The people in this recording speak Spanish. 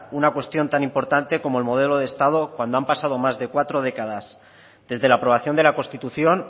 una cuestión tan importante como el modelo de estado cuando han pasado más de cuatro décadas desde la aprobación de la constitución